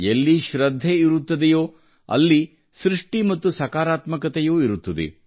ಎಲ್ಲಿ ಶ್ರದ್ಧೆ ಇರುತ್ತದೆಯೋ ಅಲ್ಲಿ ಸೃಷ್ಟಿ ಮತ್ತು ಸಕಾರಾತ್ಮಕತೆಯೂ ಇರುತ್ತದೆ